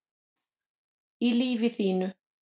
í lífi þínu